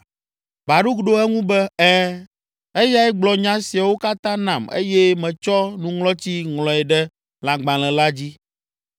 Baruk ɖo eŋu be, “Ɛ̃, eyae gblɔ nya siawo katã nam eye metsɔ nuŋlɔtsi ŋlɔe ɖe lãgbalẽ la dzi.”